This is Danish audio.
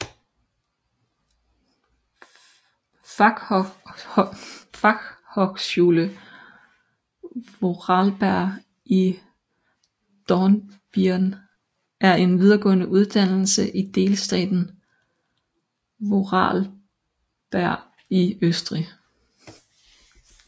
Fachhochschule Vorarlberg i Dornbirn er en videregående uddannelse i delstaten Vorarlberg i Østrig